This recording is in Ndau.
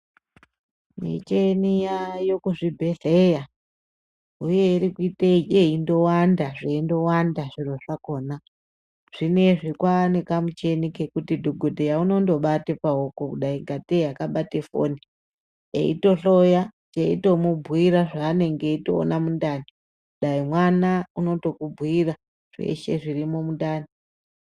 Michini yaayo kuzvibhehleya huye irikuite yeindovanda zveindovanda zviro zvakona, zveindovanda zviro zvakona. Zvineizvi kwaane kamuchina kekuti dhokodheya unobate paoko kudai kateyi akabate foni ,eitohloya teitomubhuyira zvaanenge eitoona mundani, dai mwana unotokubhuira zveshe zvirimwo mundani.